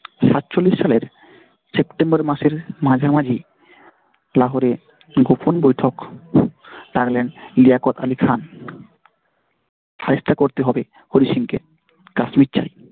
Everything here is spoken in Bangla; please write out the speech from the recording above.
সাতচল্লিশ সালের September মাসের মাঝামাঝি লাহোরে গোপন বৈঠক রাখলেন লিয়াকৎ আলী খান চেষ্টা করতে হবে হরি সিং কে কাশ্মীর চাই।